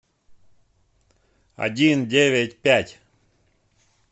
один девять пять